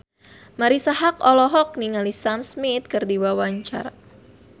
Marisa Haque olohok ningali Sam Smith keur diwawancara